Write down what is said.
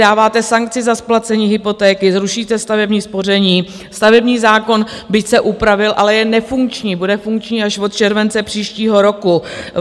Dáváte sankci za splacení hypotéky, zrušíte stavební spoření, stavební zákon, byť se upravil, ale je nefunkční, bude funkční až od července příštího roku.